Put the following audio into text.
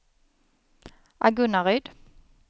Agunnaryd